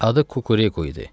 Adı Kukureku idi.